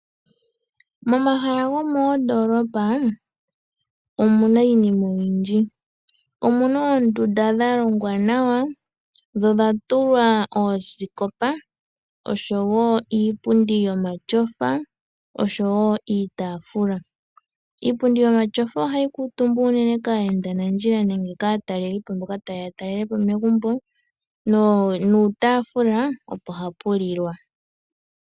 Momahala gomoondoolopa omu na iinima oyindji. Omu na oondunda dha longwa nawa, dho odha tulwa oosikopa osho wo iipundi yomatyofa, osho wo iitaafula. Iipundi yomatyofa ohayi kuutumbwa unene kaayendanandjila nenge kaatalelipo mboka taye ya talele po megumbo nopuutaafula opo hapu lilwa.